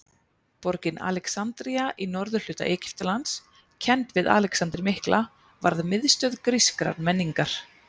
Borgin Alexandría í norðurhluta Egyptalands, kennd við Alexander mikla, varð miðstöð grískrar menningar.